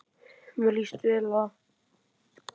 Mér líst vel á það.